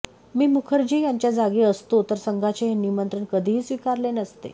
मी मुखर्जी यांच्या जागी असतो तर संघाचे हे निमंत्रण कधीही स्वीकारले नसते